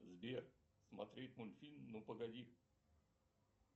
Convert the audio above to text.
сбер смотреть мультфильм ну погоди